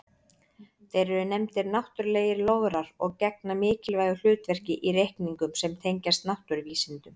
Þeir eru nefndir náttúrlegir lograr og gegna mikilvægu hlutverki í reikningum sem tengjast náttúruvísindum.